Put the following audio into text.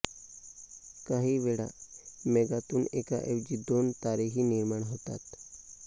काही वेळा मेघातुन एका ऐवजी दोन तारे ही निर्माण होतात